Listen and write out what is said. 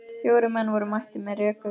Fjórir menn voru mættir með rekur.